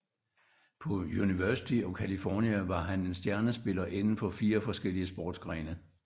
På University of California var han en stjernespiller inden for fire forskellige sportsgrene